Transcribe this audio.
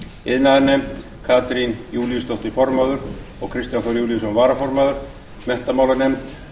iðnaðarnefnd katrín júlíusdóttir formaður og kristján þór júlíusson varaformaður menntamálanefnd